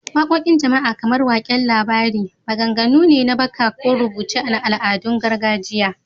Waqoqin jama’a, kamar waƙen labari, maganganu ne na baka ko rubuce na al’adun gargajiya.